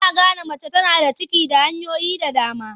Ana gane mace tana da ciki da hanyoyi da dama.